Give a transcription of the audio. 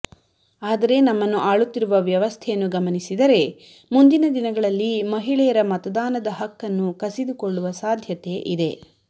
ಆದರೆ ನಮ್ಮನ್ನು ಆಳುತ್ತಿರುವ ವ್ಯವಸ್ಥೆಯನ್ನು ಗಮನಿಸಿದರೆ ಮುಂದಿನ ದಿನಗಳಲ್ಲಿ ಮಹಿಳೆಯರ ಮತದಾನದ ಹಕ್ಕನ್ನು ಕಸಿದುಕೊಳ್ಳುವ ಸಾಧ್ಯತೆ ಇದೆ